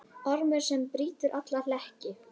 Ormur sem brýtur alla hlekki.